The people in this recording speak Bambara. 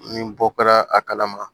Ni bɔ kɛra a kalama